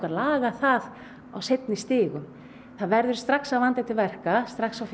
á seinni stigum það verður strax að vanda til verka strax á fyrsta stigi